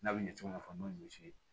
N'a bɛ ɲɛ cogo min na n'o ye